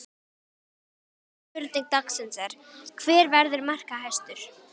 Fyrri spurning dagsins er: Hver verður markahæstur?